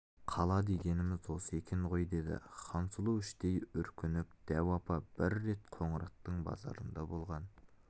қала дегеніміз осы екен ғой дейді хансұлу іштей үркініп дәу апа бір рет қоңыраттың базарында болған